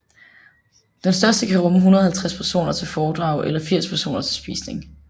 Den største kan rumme 150 personer til foredrag eller 80 personer til spisning